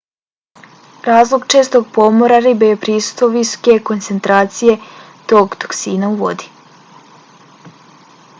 razlog čestog pomora ribe je prisustvo visoke koncentracije tog toksina u vodi